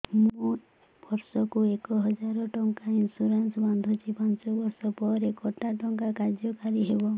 ମୁ ବର୍ଷ କୁ ଏକ ହଜାରେ ଟଙ୍କା ଇନ୍ସୁରେନ୍ସ ବାନ୍ଧୁଛି ପାଞ୍ଚ ବର୍ଷ ପରେ କଟା ଟଙ୍କା କାର୍ଯ୍ୟ କାରି ହେବ